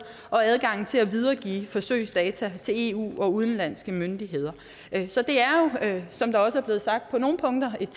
og adgangen til at videregive forsøgsdata til eu og udenlandske myndigheder så det er jo som det også er blevet sagt på nogle punkter et